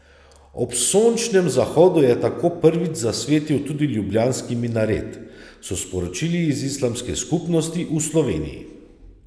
Ob sončnem zahodu je tako prvič zasvetil tudi ljubljanski minaret, so sporočili iz Islamske skupnosti v Sloveniji.